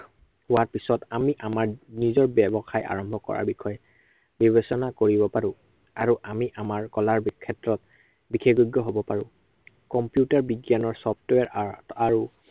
হোৱাৰ পিছত আমি আমাৰ নিজৰ ব্য়ৱসায় আৰম্ভ কৰাৰ বিষয়ে, বিবেচনা কৰিব পাৰো। আৰু আমি আমাৰ কলাৰ ক্ষেত্ৰত, বিশেষজ্ঞ হব পাৰো। computer বিজ্ঞানৰ software আহ আৰু